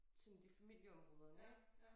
Sådan de familieområderne ik